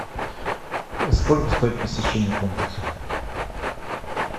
сколько стоит посещение комплекса